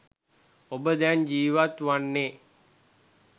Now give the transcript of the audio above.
ඔබ දැන් ජීවත් වන්නේ